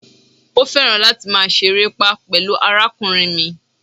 Ó̩ fẹran láti ma seeré pá pẹ̀lú àrákúnriń mí.